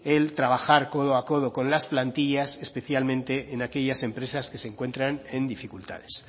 el trabajar codo a codo con las plantillas especialmente en aquellas empresas que se encuentran en dificultades